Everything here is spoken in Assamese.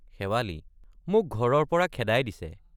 শেৱালি—মোক ঘৰৰ পৰা খেদাই দিছে।